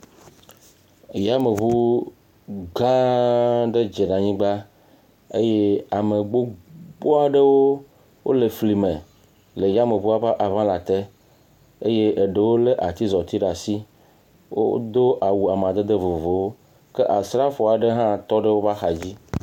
Yameŋu gã aɖe dze ɖe anyigba eye ame gbogbo aɖewo le fli me le yameŋua ƒe aŋalã te eye eɖewo le atizɔti ɖe asi. Wodo awu amadede vovovowo ke asrafo aɖe hã tɔ ɖe woƒe axadzi.